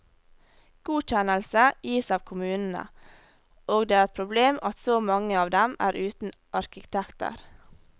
Godkjennelse gis av kommunene, og det er et problem at så mange av dem er uten arkitekter.